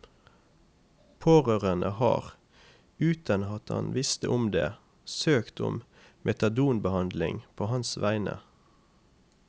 Pårørende har, uten at han visste om det, søkt om metadonbehandling på hans vegne.